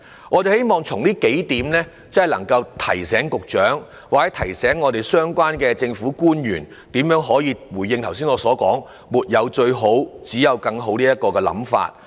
我們希望提出以下幾點，以提醒局長或相關政府官員，如何秉持我剛才所說"沒有最好，只有更好"的信念。